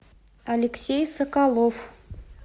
алексей соколов